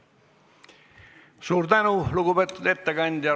Suur tänu, lugupeetud ettekandja!